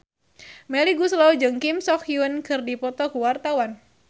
Melly Goeslaw jeung Kim So Hyun keur dipoto ku wartawan